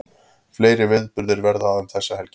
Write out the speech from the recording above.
Fleiri viðburðir verða um þessa helgi